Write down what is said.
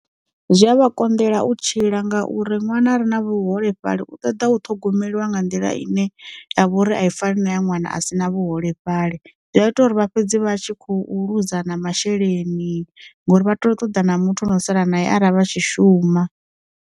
Zwi a vha konḓela u tshila nga uri ṅwana re na vhuholefhali u ṱoḓa u ṱhogomeliwa nga nḓila ine ya vha uri a i faneli na ya ṅwana a si na vhuholefhali, zwi a ita uri vha fhedzi vha tshi khou ḽuza na masheleni ngori vha ṱoḓa na muthu ane o sala na ya ara vha tshi shuma.